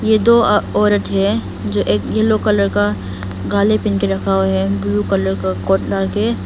ये दो अह औरत है जो एक येलो कलर का गाले पहन के रखा हुआ है ब्लू कलर का कोट डाल के है।